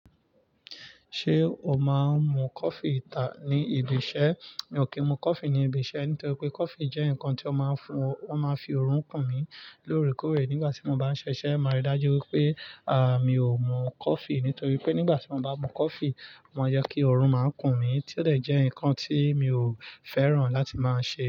Ṣé o máa ń mu coffee ìta ní ibi iṣẹ́? Mi ò kí ń mu coffee ní ibi iṣẹ́ nítorí pé coffee jẹ́ nǹkan tó máa ń fún, ó máa ń fi oorun kùn mí lóòrèkóòrè nígbà tí mo bá ń ṣiṣẹ́. Máa rí i dájú wípé, à, mi ò mu coffee nítorí pé nígbà tí mo bá mu coffee, ó máa ń jẹ́ kí oorun máa kùn mí, tí ó dẹ̀ jẹ́ nǹkan tí mi ò fẹ́ràn láti máa ṣe.